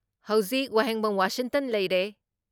ꯍꯧꯖꯤꯛ ꯋꯥꯍꯦꯡꯕꯝ ꯋꯥꯁꯤꯡꯇꯟ ꯂꯩꯔꯦ